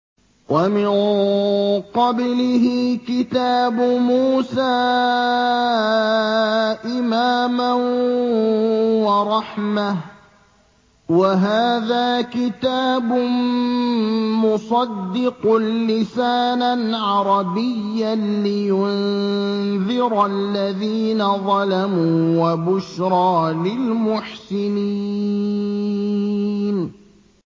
وَمِن قَبْلِهِ كِتَابُ مُوسَىٰ إِمَامًا وَرَحْمَةً ۚ وَهَٰذَا كِتَابٌ مُّصَدِّقٌ لِّسَانًا عَرَبِيًّا لِّيُنذِرَ الَّذِينَ ظَلَمُوا وَبُشْرَىٰ لِلْمُحْسِنِينَ